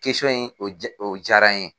in o jara n ye.